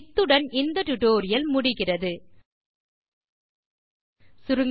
இத்துடன் இந்த பாடத்தின் முடிவுக்கு வருகிறோம்